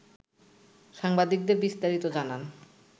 সাংবাদিকদের বিস্তারিত জানান